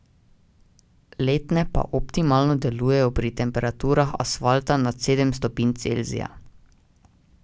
Letne pa optimalno delujejo pri temperaturah asfalta nad sedem stopinj Celzija.